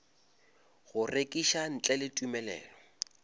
go rekiša ntle le tumelelo